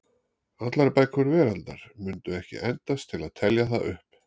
Allar bækur veraldar mundu ekki endast til að telja það upp.